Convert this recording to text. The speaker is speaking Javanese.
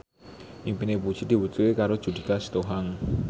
impine Puji diwujudke karo Judika Sitohang